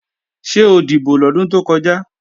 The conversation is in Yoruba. Ṣé o dìbò lọ́dún tó kọjá?